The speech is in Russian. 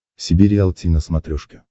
себе риалти на смотрешке